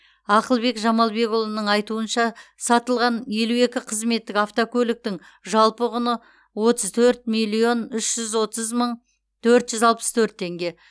ақылбек жамалбекұлының айтуынша сатылған елу екі қызметтік автокөліктің жалпы құны отыз төрт миллион үш жүз отыз мың төрт жүз алпыс төрт теңге